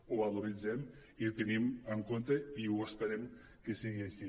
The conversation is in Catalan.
ho valoritzem i ho tenim en compte i esperem que sigui així